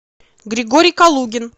григорий калугин